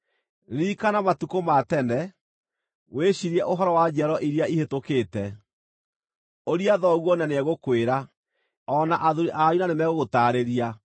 Ririkana matukũ ma tene; wĩciirie ũhoro wa njiaro iria ihĩtũkĩte. Ũria thoguo na nĩegũkwĩra, O na athuuri anyu na nĩmegũgũtaarĩria.